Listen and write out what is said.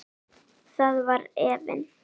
Þar var efinn.